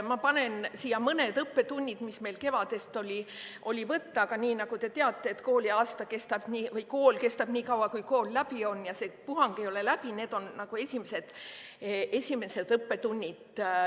Ma panen siia mõned õppetunnid, mis meil kevadest on võtta, aga nagu te teate, et kool kestab nii kaua, kui kool läbi on, ja see puhang ei ole läbi, need on esimesed õppetunnid.